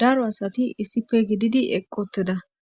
Daro asati issipe gididi eqi utida